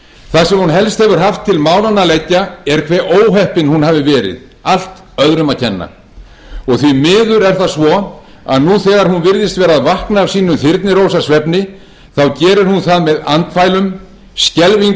það sem hún helst hefur haft til málanna að leggja er hve óheppin hún hafi verið allt öðrum að kenna því miður er það svo að nú þegar hún virðist vera að vakna af sínum þyrnirósarsvefni gerir hún það með andfælum skelfingu